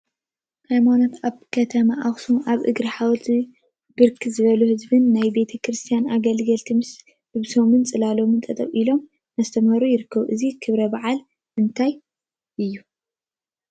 ሃይማኖት አብ ከተማ አክሱም አብ እግሪ ሓወልቲ ብርክት ዝበሉ ህዝቢን ናይ ቤተ ክርስትያን አገልገልቲ ምስ ልብሶምን ፅላሎምን ጠጠው ኢሎም እናስተምሃሩ ይርከቡ፡፡ እዚ ክብረ በዓል ናይ እንታይ እዩ?